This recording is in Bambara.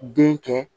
Den kɛ